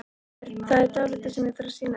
Það er dálítið sem ég þarf að sýna þér hérna!